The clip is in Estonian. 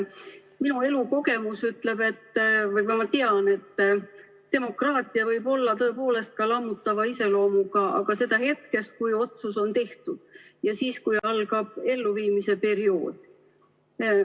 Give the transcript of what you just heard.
Minu elukogemus ütleb või ma tean, et demokraatia võib olla tõepoolest ka lammutava iseloomuga, aga seda hetkest, kui otsus on tehtud ja algab elluviimise periood.